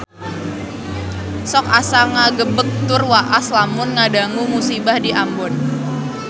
Sok asa ngagebeg tur waas lamun ngadangu musibah di Ambon